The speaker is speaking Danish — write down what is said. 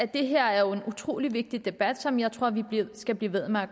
det her jo en utrolig vigtig debat som jeg tror vi skal blive ved med at